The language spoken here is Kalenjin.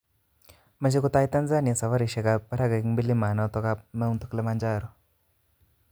Mt Kilimanjaro: Meche kotai Tanzania safarisiek ab parak eng milamanoto.